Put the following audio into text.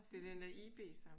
Det er den der IB så?